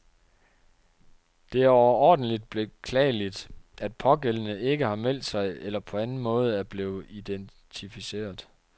Det er overordentligt beklageligt, at pågældende ikke har meldt sig eller på anden måde er blevet identificeret.